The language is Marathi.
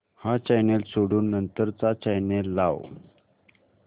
हा चॅनल सोडून नंतर चा चॅनल लाव